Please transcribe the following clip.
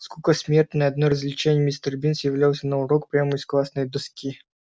скука смертная одно развлечение мистер бинс являлся на урок прямо из классной доски